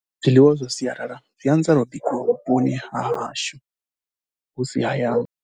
Zwiḽiwa zwa sialala zwi anzelwa bikiwa vhuponi ha hashu, hu si hayani.